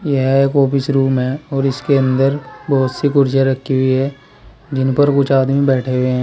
यह एक office room है और इसके अंदर बहोत सी कुर्सियां रखी हुई है जिन पर कुछ आदमी बैठे हुए हैं।